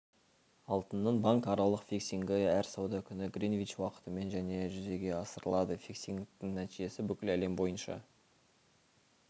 алтынның банк аралық фиксингі әр сауда күні гринвич уақытымен және жүзеге асырылады фиксингтің нәтижесі бүкіл әлем бойынша